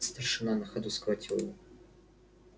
старшина на ходу схватил его